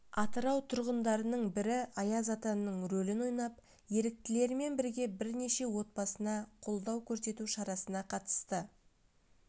атырау тұрғындарының бірі аяз атаның рөлін ойнап еріктілермен бірге бірнеше отбасына қолдау көрсету шарасына қатысты